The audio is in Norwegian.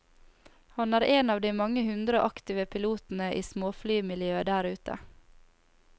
Han er en av de mange hundre aktive pilotene i småflymiljøet der ute.